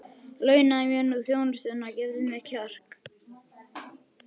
Launaðu mér nú þjónustuna og gefðu mér kjark!